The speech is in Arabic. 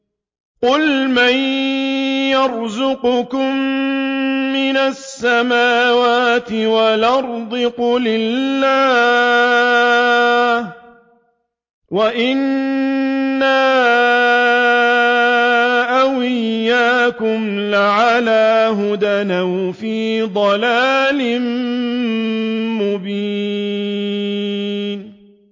۞ قُلْ مَن يَرْزُقُكُم مِّنَ السَّمَاوَاتِ وَالْأَرْضِ ۖ قُلِ اللَّهُ ۖ وَإِنَّا أَوْ إِيَّاكُمْ لَعَلَىٰ هُدًى أَوْ فِي ضَلَالٍ مُّبِينٍ